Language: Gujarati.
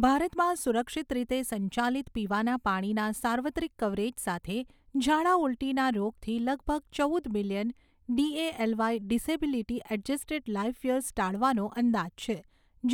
ભારતમાં સુરક્ષિત રીતે સંચાલિત પીવાના પાણીના સાર્વત્રિક કવરેજ સાથે, ઝાડા ઊલટીના રોગથી લગભગ ચૌદ million DALY disability adjusted life years ટાળવાનો અંદાજ છે,